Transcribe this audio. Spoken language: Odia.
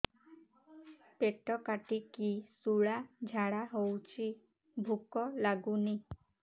ପେଟ କାଟିକି ଶୂଳା ଝାଡ଼ା ହଉଚି ଭୁକ ଲାଗୁନି